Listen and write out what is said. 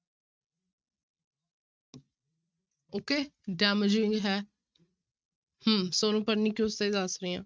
Okay damaging ਹੈ ਹਮ ਸੋਨੂੰ pernicious ਦਾ ਹੀ ਦੱਸ ਰਹੀ ਹਾਂ।